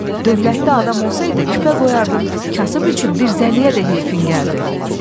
Dövlətdə adam olsaydı, küpə qoyardın, kasıb üçün bir zəliyə də heyfin gəldi.